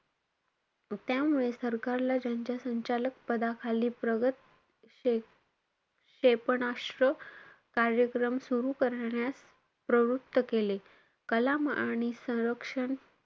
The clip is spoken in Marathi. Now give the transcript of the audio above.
त्यामुळे सरकारला त्याच्या संचालक पदाखाली प्रगत क्षे~ क्षेपणास्त्र कार्यक्रम सुरु करण्यास प्रवृत्त केले. कलाम आणि संरक्षण,